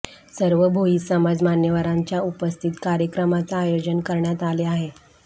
सर्व भोई समाज मान्यवरांच्या उपस्थित कार्यक्रमाच आयोजन करण्यात आले आहे